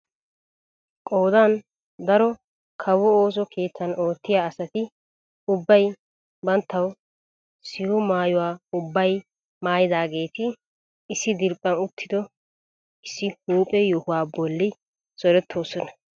Qoodan daro kawo ooso keettan oottiyaa asati ubbay banttawu siho maayuwaa ubbay maayidaageti issi diriiphphan uttido issi huuphphe yohuwaa bolli zorettoosona!